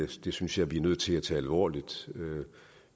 det synes jeg vi er nødt til at tage alvorligt